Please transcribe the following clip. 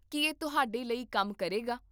ਕੀ ਇਹ ਤੁਹਾਡੇ ਲਈ ਕੰਮ ਕਰੇਗਾ?